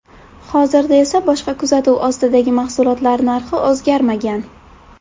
Hozirda esa boshqa kuzatuv ostidagi mahsulotlar narxi o‘zgarmagan.